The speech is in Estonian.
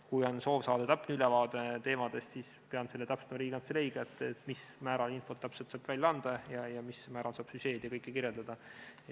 Kui on soov saada täpne ülevaade teemadest, siis pean seda täpsustama Riigikantseleiga, mil määral infot saab välja anda ja mil määral saab süžeed ja kõike kirjeldada.